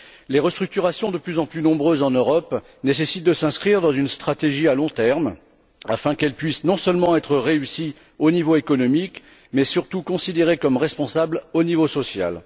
Les restructurations de plus en plus nombreuses en Europe doivent s'inscrire dans une stratégie à long terme afin de pouvoir non seulement être réussies au niveau économique, mais, surtout, considérées comme responsables au niveau social.